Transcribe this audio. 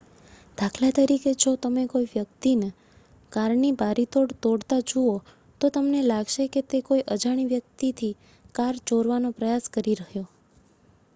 દાખલા તરીકે જો તમે કોઈવ્યક્તિને કારની બારીતોડ તોડતા જુઓ તો તમને લાગશે કે તે કોઈ અજાણી વ્યક્તિની કાર ચોરવાનો પ્રયાસ કરી રહ્યો